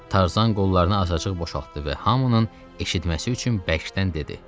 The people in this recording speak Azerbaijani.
Tarzan qollarını açaçıq boşaltdı və hamının eşitməsi üçün bərkdən dedi.